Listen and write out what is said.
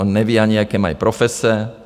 On neví ani, jaké mají profese.